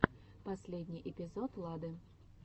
последний эпизод лады